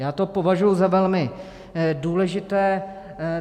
Já to považuji za velmi důležité.